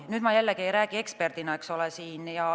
Nüüd ma jällegi ei räägi eksperdina, eks ole.